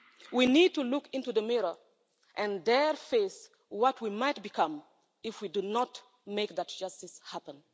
We need to look into the mirror, and there face what we might become if we do not make that justice happen.